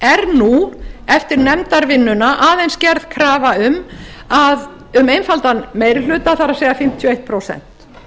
nú eftir nefndarvinnuna aðeins gerð krafa um einfaldan meiri hluta það er fimmtíu og eitt prósent